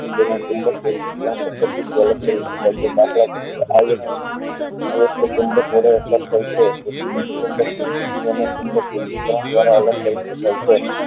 તો તેના ચુંબકીય પદ્ધતિ અલગ કરી શકે છે દાખલા તરીકે આયર્ન વિધિ કરણ દ્વારા અલગ કરી શકાય છે